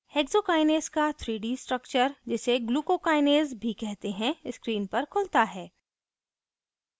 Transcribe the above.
hexokinase का 3d structure जिसे glucokinase भी कहते हैं screen पर खुलता है